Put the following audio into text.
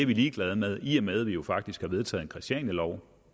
ligeglad med i og med at vi jo faktisk har vedtaget en christianialov